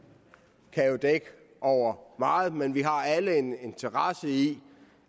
kan jo dække over meget men vi har alle en interesse i